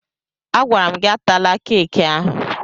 Agwara m gị atala keeki ahụ!